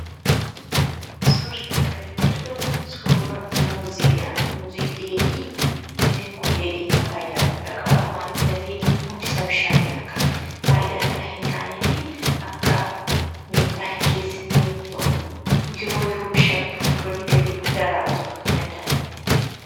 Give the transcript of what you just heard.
Suurri kana gaditti argamu, suura muuziidha; muuzii dheedhii. Muuziin kun dheedhiinsaa faayidaa guddaa qaba. Maaliif, dafee hundisaa bishaatee akka faayidaa ala hin taaneefi akka miidhaa hin geessisne yommuu ta'u, yeroo yeroo bishaatutti gurguranii galii guddaa irraa argachuu akka danda'anitti.